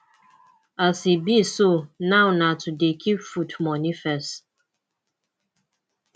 as e be so now na to dey keep food moni first